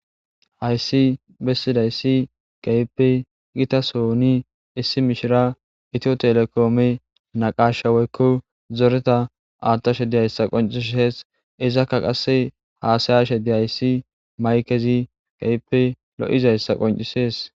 Hayssi bessidayssi gayippe gitasooni issi mishira itiyo telekoome naqashawoykko zoreta aatta shedihayssa qoncisees izakka qasse haasaya shede hayssi maykezi gayippe lo7izayssa qoncisees